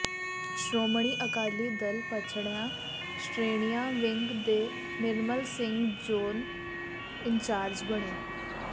ਸ਼ੋ੍ਰਮਣੀ ਅਕਾਲੀ ਦਲ ਪੱਛੜੀਆਂ ਸ਼੍ਰੇਣੀਆਂ ਵਿੰਗ ਦੇ ਨਿਰਮਲ ਸਿੰਘ ਜ਼ੋਨ ਇੰਚਾਰਜ ਬਣੇ